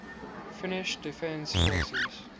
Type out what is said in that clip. finnish defence forces